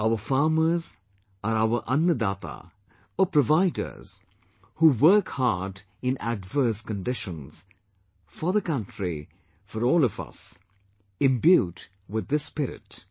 Our farmers are our Annadata or providers who work hard in adverse conditions, for the country, for all of us, imbued with this spirit